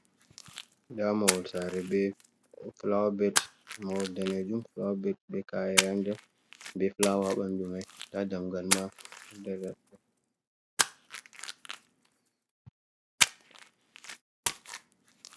Ndaa mahol saare be fulaawa bet ,mahol daneejum fulaawa bet be ka'ere a nder be fulaawa a ɓanndu may ndaa dammugal ma.